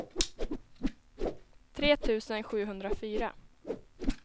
tre tusen sjuhundrafyra